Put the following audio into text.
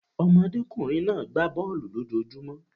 Ọmọdékùnrin náà gbá bọ̀ọ̀lu lójojúmó.